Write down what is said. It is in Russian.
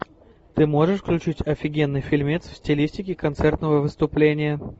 ты можешь включить офигенный фильмец в стилистике концертного выступления